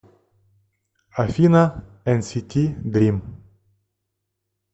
афина энсити дрим